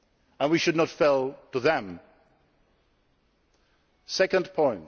country, and we should not fail them. Secondly,